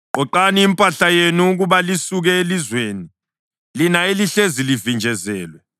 Qoqani impahla yenu ukuba lisuke elizweni, lina elihlezi livinjezelwe.